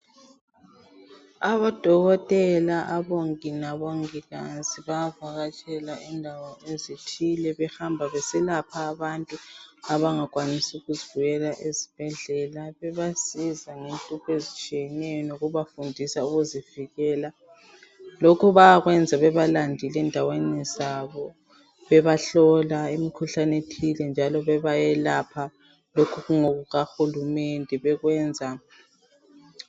Odokotela, abongi labongikazi bayavakatshela indawo ezithile behamba beselapha abangakwanisi ukuzibuyela ezibhedlela. Bayabasiza ngenhlupho ezitshiyeneyo bebafundisa ukuzivikel lokhu bayakwenza bebalandile ezindaweni zabo bebahlola imikhuhlane ethile njalo bebayelapha.